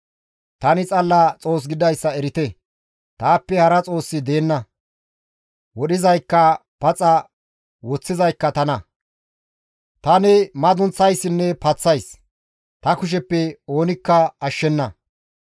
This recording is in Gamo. «Tani xalla Xoos gididayssa erite; taappe hara Xoossi deenna; wodhizaykka paxa woththizaykka tana; tani madunththayssinne paththays; ta kusheppe oonikka inttena ashshenna.